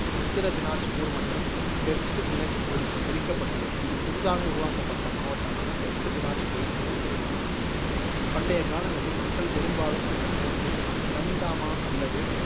உத்திர தினாஜ்பூர் மற்றும் தெற்கு தினஜ்பூருக்குப் பிரிக்கப்பட்டுள்ளது இது புதிதாக உருவாக்கப்பட்ட மாவட்டமாக தெற்கு தினாஜ்பூரின் துணைப்பிரிவாக மாறியது. பண்டைய காலங்களில் மக்கள் பெரும்பாலும் இந்த நகரத்தை டம்டாமா அல்லது